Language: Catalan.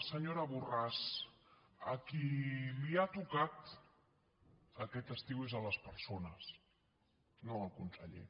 senyora borràs a qui ha tocat aquest estiu és a les persones no al conseller